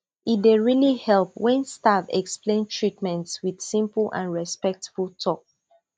e dey really help when staff explain treatment with simple and respectful talk